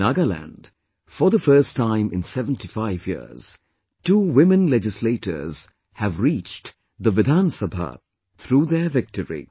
In Nagaland, for the first time in 75 years, two women legislators have reached the Vidhan Sabha through their victory